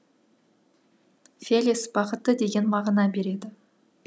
фелис бақытты деген мағына береді